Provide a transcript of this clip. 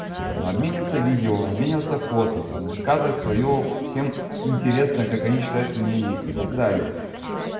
обмениваться видео обмениваться фото там высказывать своё всем интересно как они считают мнение и так далее